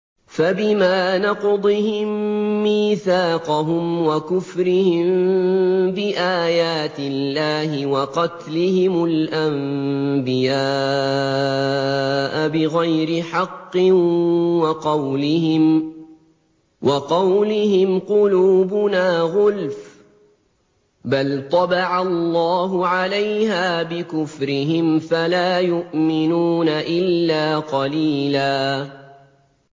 فَبِمَا نَقْضِهِم مِّيثَاقَهُمْ وَكُفْرِهِم بِآيَاتِ اللَّهِ وَقَتْلِهِمُ الْأَنبِيَاءَ بِغَيْرِ حَقٍّ وَقَوْلِهِمْ قُلُوبُنَا غُلْفٌ ۚ بَلْ طَبَعَ اللَّهُ عَلَيْهَا بِكُفْرِهِمْ فَلَا يُؤْمِنُونَ إِلَّا قَلِيلًا